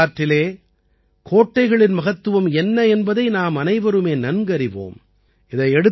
நமது வரலாற்றிலே கோட்டைகளின் மகத்துவம் என்ன என்பதை நாமனைவருமே நன்கறிவோம்